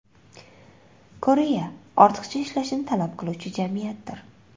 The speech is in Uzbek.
Koreya ortiqcha ishlashni talab qiluvchi jamiyatdir.